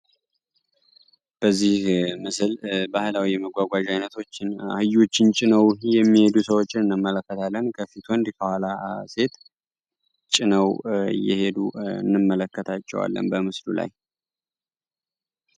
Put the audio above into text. በዚህ ምስል ባህላዊ የመጓጓዝ አይነቶችን አህዮችን ጭነው የሚሄዱ ሰዎችን እንመለከታለን ከፊት ወንድ ከኋላ ሴት ጭነው እየሄዱ እንመለከታቸዋለን በምስሉ ላይ።